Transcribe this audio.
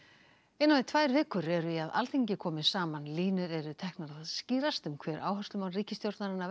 innan við tvær vikur eru í að Alþingi komi saman línur eru teknar að skýrast um áherslumál ríkisstjórnarinnar